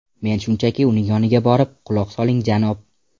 Men shunchaki uning yoniga borib: ‘Quloq soling, janob.